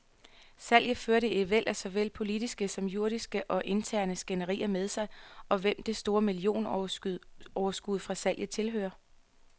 Salget førte et væld af såvel politiske som juridiske og interne skænderier med sig, om hvem det store millionoverskud fra salget tilhører.